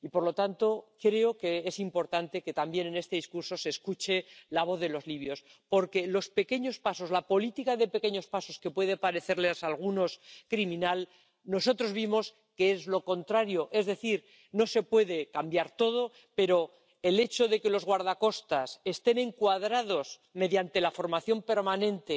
Y, por lo tanto, creo que es importante que también en este discurso se escuche la voz de los libios, porque nosotros vimos que los pequeños pasos, la política de pequeños pasos que puede parecerles a algunos criminal, es lo contrario es decir, no se puede cambiar todo, pero el hecho de que los guardacostas estén encuadrados mediante la formación permanente,